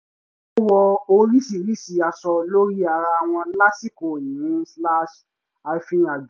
ó wọ oríṣiríṣi aṣọ lórí ara wọn lásìkò ìrìn-àjò